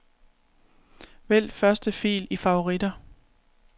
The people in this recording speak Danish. Vælg første fil i favoritter.